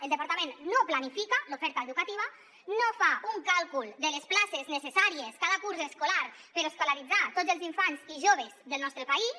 el departament no planifica l’oferta educativa no fa un càlcul de les places necessàries cada curs escolar per escolaritzar tots els infants i joves del nostre país